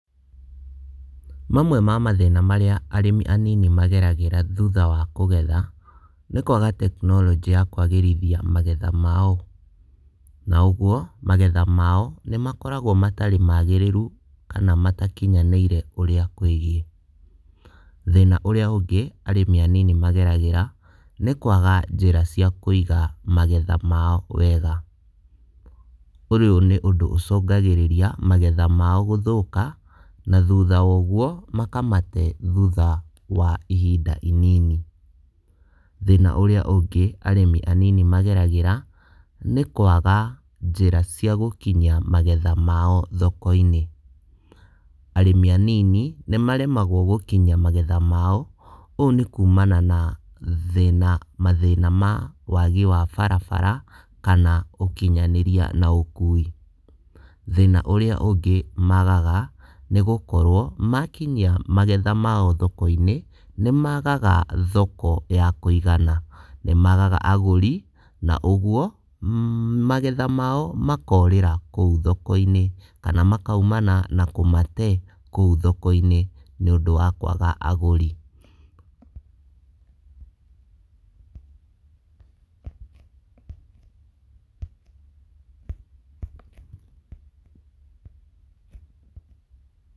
Mamwe ma mathĩna marĩa arĩmi anini mageragĩra thutha wa kũgetha, nĩ kwaga tekinoronjĩ ya kwagĩrithia magetha mao. Na ũguo, magetha mao nĩ makoragwo matarĩ magĩrĩru kana matakinyanĩire ũrĩa kwĩgiĩ. Thĩna ũrĩa ũngĩ arĩmi anini mageragĩra, nĩ kwaga njĩra cia kũiga magetha mao wega, ũyũ nĩ ũndũ ũcũngagĩrĩria magetha mao gũthũka na thutha wa ũguo makamate thutha wa ihinda inini. Thĩna ĩrĩa ũngĩ arĩmi anini mageragĩra nĩ kwaga njĩra cia gũkinyia magetha mao thoko-inĩ. Arĩmi anini nĩ maremagwo gũkinyia magetha mao, ũũ nĩ kumana na thĩna, mathĩna ma wagi wa barabara kana ũkinyanĩria na ũkui. Thĩna ũrĩa ũngĩ magaga, nĩgũkorwo, makinyia magetha mao thoko-inĩ, nĩ magaga thoko ya kũigana, nĩ magaga agũri na ũguo magetha mao makorĩra kũu thoko-inĩ kana makaumana na kũmate kũu thoko-inĩ nĩVũndũ wa kwaga agũri.